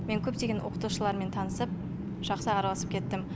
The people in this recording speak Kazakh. мен көптеген оқытушылармен танысып жақсы араласып кеттім